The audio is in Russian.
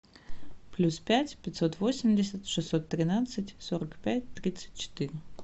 плюс пять пятьсот восемьдесят шестьсот тринадцать сорок пять тридцать четыре